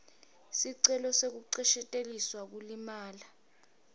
sicelo sekuncesheteliselwa kulimala